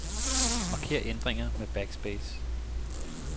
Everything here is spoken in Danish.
Marker ændringer med backspace.